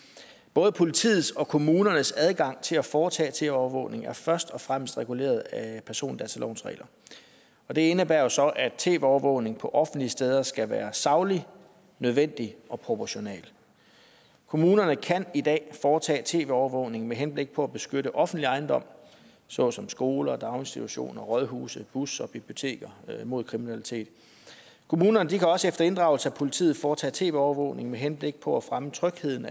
både politiets og kommunernes adgang til at foretage tv overvågning er først og fremmest reguleret af persondatalovens regler og det indebærer så at tv overvågningen på offentlige steder skal være saglig nødvendig og proportional kommunerne kan i dag foretage tv overvågning med henblik på at beskytte offentlig ejendom såsom skoler daginstitutioner rådhuse busser og biblioteker mod kriminalitet kommunerne kan også efter inddragelse af politiet foretage tv overvågning med henblik på at fremme trygheden